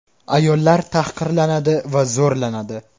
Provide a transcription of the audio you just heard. Ayollar tahqirlanadi va zo‘rlanadi.